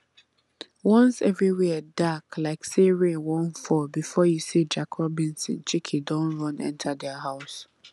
once every where dark like say rain wan fall before you say jack robinson chicken don run enter their house